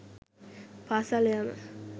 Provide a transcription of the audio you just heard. පාසල් යාම